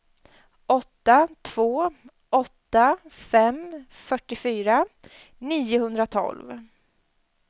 åtta två åtta fem fyrtiofyra niohundratolv